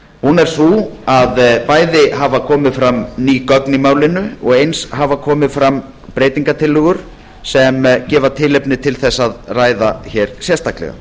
hún er sú að bæði hafa komið fram ný gögn í málinu og eins hafa komið fram breytingartillögur sem gefa tilefni til þess að ræða hér sérstaklega